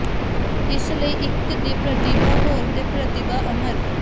ਇਸ ਲਈ ਇੱਕ ਦੀ ਪ੍ਰਤੀਭਾ ਹੋਰ ਦੇ ਪ੍ਰਤੀਭਾ ਅਮਰ